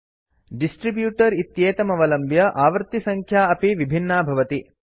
distributor इत्येतमवलम्ब्य आवृत्तिसङ्ख्या अपि विभिन्ना भवति